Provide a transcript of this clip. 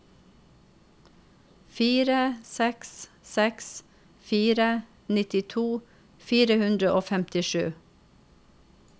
fire seks seks fire nittito fire hundre og femtisju